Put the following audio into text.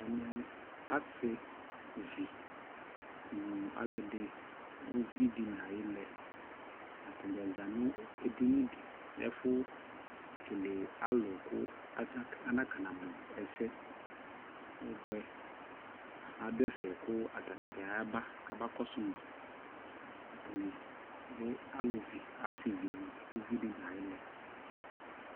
Ɛmɛ asivi nu aluɛ di uvi di na ayi lɛAtadza za nu ɛdini diƐfu kele alu ku ana ka na mu ɛsɛ ɔbuɛAdu ɛfɛ ata ni dza ya ba kɔ su maAtani lɛ asiviUvi di na yi lɛ